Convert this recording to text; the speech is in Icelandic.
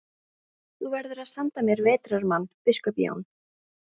Þú verður að senda mér vetrarmann, biskup Jón.